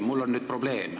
Mul on nüüd probleem.